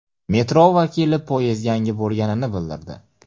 Metro vakili poyezd yangi bo‘lganini bildirdi.